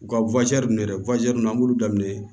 U ka ninnu dɛ an b'ulu daminɛ